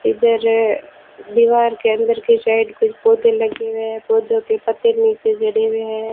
इधर दीवार के अंदर की साइड कुछ पौधे लगे हुए है पौधों के पत्ते नीचे झड़े हुए हैं।